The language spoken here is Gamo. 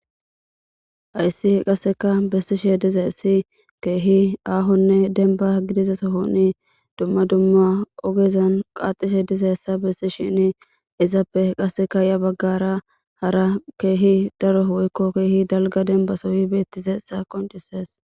hayssi qasseka bessishe dizayssi keehi aahonne denba gidize sohonni dumma dumma ogezan qaaxishe diza essa bessi shini izappe qasseka ya baggara hara keehi daro woyko keehi dalga denba sohoy beettizaysa qoncisees